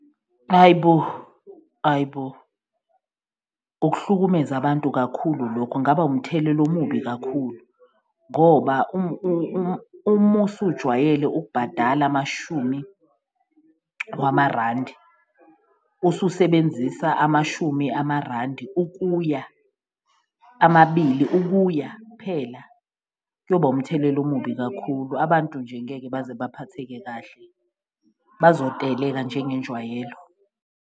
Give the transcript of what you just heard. Ayi bo! Ayi bo! Ukuhlukumeza abantu kakhulu lokhu kungaba umthelela omubi kakhulu ngoba umusujwayele ukubhadala amashumi wamarandi, ususebenzisa amashumi amarandi ukuya amabili, ukuya phela kuyoba umthelela omubi kakhulu. Abantu nje ngeke baze baphatheke kahle bazoteleka njengenjwayelo.